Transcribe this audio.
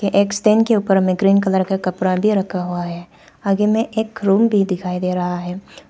एक स्टेंड के ऊपर में ग्रीन कलर का कपड़ा भी रखा हुआ है आगे में एक रूम भी दिखाई दे रहा है।